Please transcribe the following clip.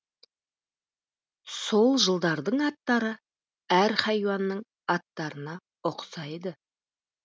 сол жылдардың аттары әр хайуанның аттарына ұқсайды